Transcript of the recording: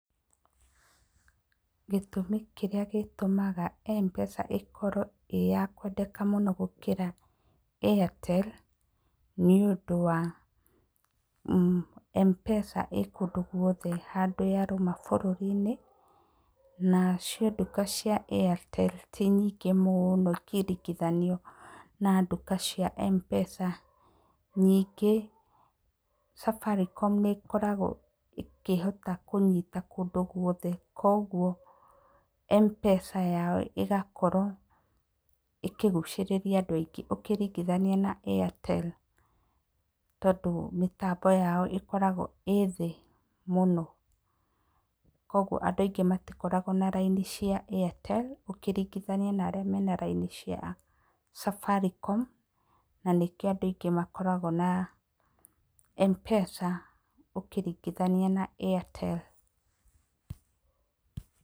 Gĩtũmi kĩrĩa gĩtũmaga Mpesa ĩkorwo ĩya kwendeka mũno gũkĩra Airtel nĩ ũndũ wa Mpesa ĩkũndũ gwothe handũ ya rũma bũrũri-inĩ na cio duka cia Airtel ti nyingĩ mũno ũngĩringithania na duka cia Mpesa, ningĩ Safaricom nĩ koragwo ĩkĩhota kũnyita kũndũ gwothe, kwoguo Mpesa yao ĩgakorwo ĩkĩgucĩrĩria andũ aingĩ ũkĩringithania na Airtel, tondũ mĩtambo yao Ĩkoragwo ĩthĩĩ mũno, kwoguo andũ aingĩ matikoragwo na raini cia Airtel ũkĩringithania na arĩa mena raini cia Safaricom na kĩo andũ aingĩ makoragwo na Mpesa ũkĩringithania na Airtel.